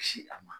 Ci a ma